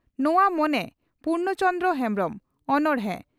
ᱱᱚᱣᱟ ᱢᱚᱱᱮ ᱯᱩᱨᱱᱚ ᱪᱚᱱᱫᱽᱨᱚ ᱦᱮᱢᱵᱽᱨᱚᱢ (ᱚᱱᱚᱬᱦᱮ)